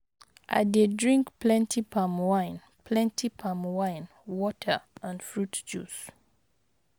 i dey drink plenty palm wine, plenty palm wine, water and fruit juice.